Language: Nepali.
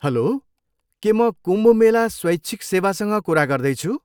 हल्लो, के म कुम्भ मेला स्वैच्छिक सेवासँग कुरा गर्दैछु?